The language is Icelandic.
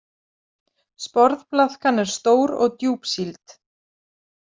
Sporðblaðkan er stór og djúpsýld.